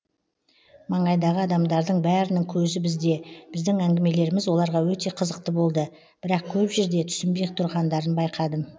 маңайдағы адамдардың бәрінің көзі бізде біздің әңгімелеріміз оларға өте қызықты болды бірақ көп жерде түсінбей тұрғандарын байқадым